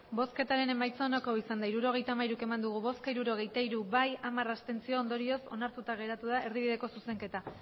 emandako botoak hirurogeita hamairu bai hirurogeita hiru abstentzioak hamar ondorioz onartuta geratu da erdibideko zuzenketa